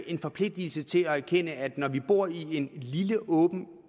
en forpligtelse til at erkende at når vi bor i et en lille åben